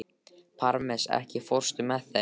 Parmes, ekki fórstu með þeim?